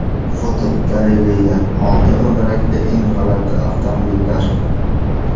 Fotogalereya: Olti g‘ildirakli eng g‘alati avtomobillar.